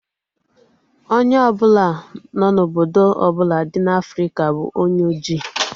Onye ọbụla no na obodo ọbụla dị n'Afrika bụ onye ojii